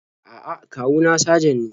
A'a, kawu na sajan ne.